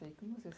e como você se